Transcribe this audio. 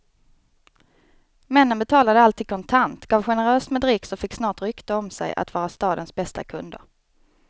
Männen betalade alltid kontant, gav generöst med dricks och fick snart rykte om sig att vara stadens bästa kunder.